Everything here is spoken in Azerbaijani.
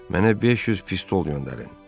Mənə 500 pistol göndərin.